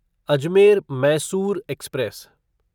Ajmer Mysore express